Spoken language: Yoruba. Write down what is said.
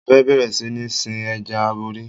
Mo fẹ́ bẹ̀rẹ̀ sí ní sin Ẹja aborí.